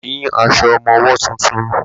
Mi ò ní aṣọ ọmọwọ́ tuntun.